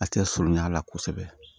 A tɛ sonya a la kosɛbɛ